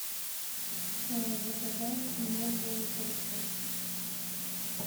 заказать новый пылесос